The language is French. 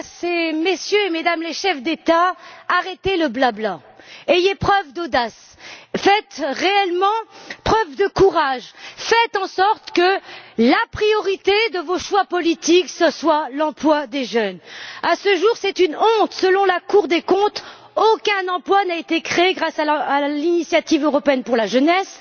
Dites à Mesdames et Messieurs les chefs d'État ou de gouvernement Arrêtez le bla bla. Faites preuve d'audace. Faites réellement preuve de courage. Faites en sorte que la priorité de vos choix politiques soit l'emploi des jeunes! À ce jour c'est une honte selon la Cour des comptes, aucun emploi n'a été créé grâce à l'initiative européenne pour la jeunesse.